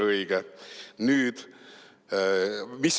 Õige!